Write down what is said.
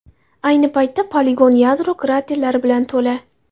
Ayni paytda poligon yadro kraterlari bilan to‘la.